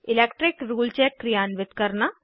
electric rule check क्रियान्वित करना